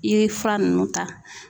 I ye fura nunnu ta.